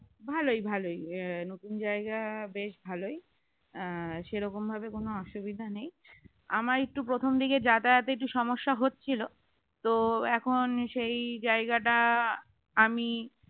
ভালোই ভালোই নতুন জায়গা বেশ ভালোই সেরকমভাবে কোন অসুবিধা নেই আমার একটু প্রথমদিকে যাতায়াতে একটু সমস্যা হচ্ছিল তো এখন সেই জায়গাটা আমি